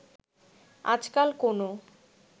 আজকাল কোনো